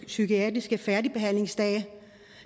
psykiatriske færdigbehandlingsdage